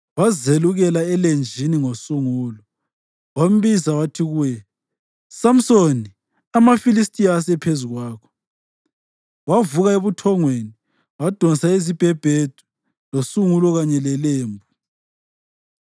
wazelukela elenjini ngosungulo. Wambiza njalo wathi kuye, “Samsoni, amaFilistiya asephezu kwakho!” Wavuka ebuthongweni wadonsa isibhebhedu losungulo kanye lelembu.